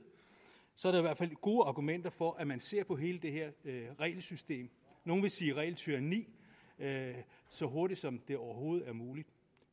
så er der gode argumenter for at man ser på hele det her regelsystem nogle vil sige regeltyranni så hurtigt som det overhovedet er muligt